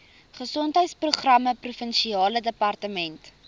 gesondheidsprogramme provinsiale departement